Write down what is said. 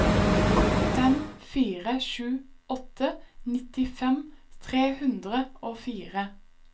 fem fire sju åtte nittifem tre hundre og fire